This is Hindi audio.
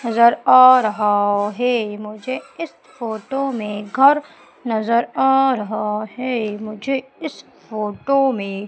नजर आ रहा है मुझे इस फोटो में घर नजर आ रहा है मुझे इस फोटो में--